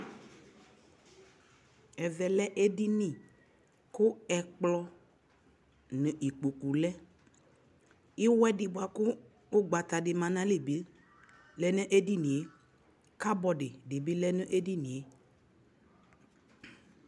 ɛvɛ lɛ ɛdini kʋ ɛkplɔ nʋ ikpɔkʋ lɛ, iwɛdi bakʋ ɔgbata di manʋ ayili bi lɛnʋ ɛdiniɛ, cupboardi dibi lɛnʋ ɛdiniɛ